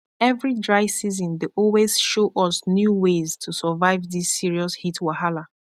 every dry season dey always show us new ways to survive this serious heat wahala